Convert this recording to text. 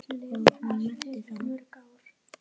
Og hún meinti það.